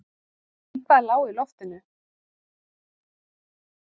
Eitthvað lá í loftinu.